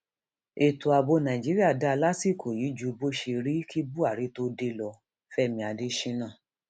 ètò ààbò nàíjíríà dáa lásìkò yìí ju bó ṣe rí kí buhari tóó dé lọ fẹmi adésínà